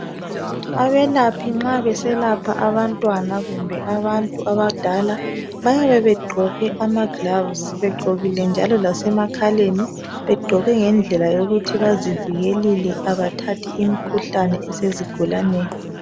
Abelaphi nxa beselapha abantwana kumbe abantu abadala bayabe begqoke amagilavisi begqokile njalo lase makhaleni begqoke ngendlela yokuthi bazivikelile abathathi imikhuhlane esezigulaneni.